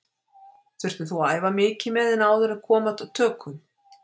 Þurftir þú að æfa mikið með henni áður en kom að tökum?